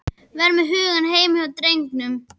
Vera með hugann heima hjá drengnum.